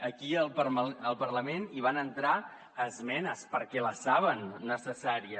aquí al parlament hi van entrar esmenes perquè la saben necessària